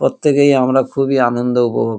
প্রত্যেকেই আমরা খুবই আনন্দ উপভো--